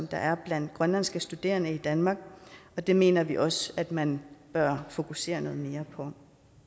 der er blandt grønlandske studerende i danmark og det mener vi også at man bør fokusere noget mere på